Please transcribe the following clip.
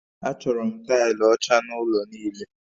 Achọrọ m taịlị ọcha n'ụlọ niile